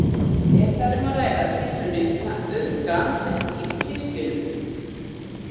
Er þar um að ræða tilraunir til að auðga andlegt líf í kirkjunum.